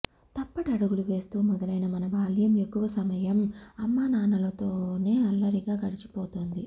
తప్పటడుగులు వేస్తూ మొదలైన మన బాల్యం ఎక్కువ సమయం అమ్మానాన్నలతోనే అల్లరిగా గడచిపోతుంది